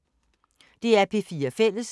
DR P4 Fælles